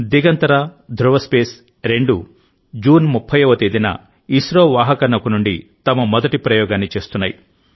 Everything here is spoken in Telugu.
దిగంతరా ధృవ స్పేస్ రెండూ జూన్ 30వ తేదీన ఇస్రో వాహక నౌక నుండి తమ మొదటి ప్రయోగాన్ని చేస్తున్నాయి